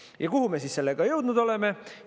Ja kuhu me sellega jõudnud oleme?